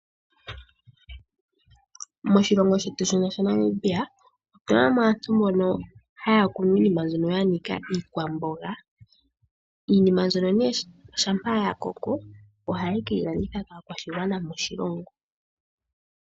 Moshilongo shetu shino shaNamibia otuna mo aantu mbono haya kunu iinima mbyono yanika iikwamboga . Iinima mbyono ngele yakoko ohaye keyi landitha kaakwashigwana moshilongo.